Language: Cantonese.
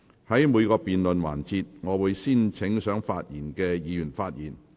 在每個辯論環節，我會先請想發言的議員發言。